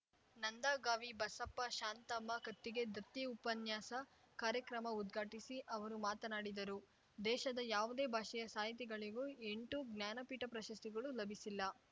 ನಂದಗಾವಿ ಬಸಪ್ಪಶಾಂತಮ್ಮ ಕತ್ತಿಗೆ ದತ್ತಿ ಉಪನ್ಯಾಸ ಕಾರ್ಯಕ್ರಮ ಉದ್ಘಾಟಿಸಿ ಅವರು ಮಾತನಾಡಿದರು ದೇಶದ ಯಾವುದೇ ಭಾಷೆಯ ಸಾಹಿತಿಗಳಿಗೂ ಎಂಟು ಜ್ಞಾನಪೀಠ ಪ್ರಶಸ್ತಿಗಳು ಲಭಿಸಿಲ್ಲ